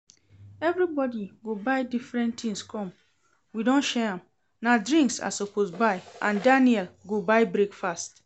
Everybody go buy different things come, we don share am. Na drinks I suppose buy and Daniel go buy breakfast